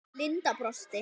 Linda brosti.